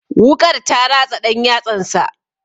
Wuƙar ta ratsa ɗan yatsansa.